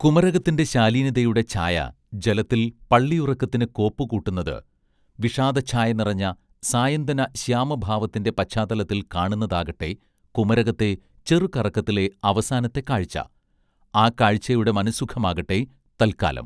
കുമരകത്തിന്റെ ശാലീനതയുടെ ഛായ ജലത്തിൽ പള്ളിയുറക്കത്തിന് കോപ്പുകൂട്ടുന്നത് വിഷാദച്ഛായ നിറഞ്ഞ സായന്തന ശ്യാമഭാവത്തിന്റെ പശ്ചാത്തലത്തിൽ കാണുന്നതാകട്ടെ കുമരകത്തെ ചെറുകറക്കത്തിലെ അവസാനത്തെ കാഴ്ച ആ കാഴ്ചയുടെ മനസ്സുഖമാകട്ടെ തൽക്കാലം.